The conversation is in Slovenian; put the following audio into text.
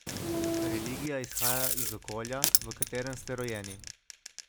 Religija izhaja iz okolja, v katerem ste rojeni.